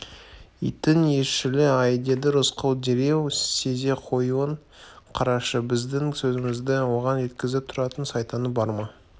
иттің иісшілі-ай деді рысқұл дереу сезе қоюын қарашы біздің сөзімізді оған жеткізіп тұратын сайтаны бар ма